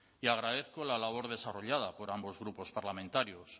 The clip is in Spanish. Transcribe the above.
y agradezco la labor desarrollada por ambos grupos parlamentarios